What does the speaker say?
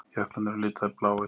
Jöklarnir eru litaðir bláir.